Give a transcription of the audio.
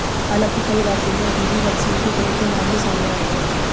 हालांकि कई राज्यों में अभी भी वैक्सीन की कमी के मामले सामने आए हैं